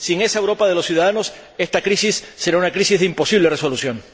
Sin esa Europa de los ciudadanos, esta crisis será una crisis de imposible resolución.